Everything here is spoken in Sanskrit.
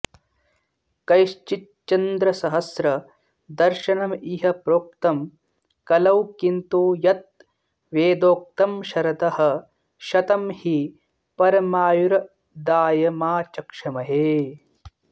कैश्चिच्चन्द्रसहस्रदर्शनमिह प्रोक्तं कलौ किन्तु यत् वेदोक्तं शरदः शतं हि परमायुर्दायमाचक्ष्महे